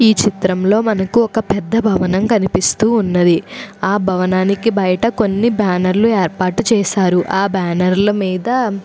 ఈ చిత్రంలో మనకి ఒక పెద్ద భవనం కనిపిస్తూ ఉన్నది ఆ భవనానికి బయట కొన్ని బ్యానర్లు ఏర్పాటు చేశారు ఆ బ్యానర్ల ల మీద.